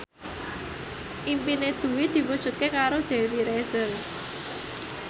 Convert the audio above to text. impine Dwi diwujudke karo Dewi Rezer